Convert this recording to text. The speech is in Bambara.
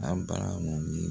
An baara mun bi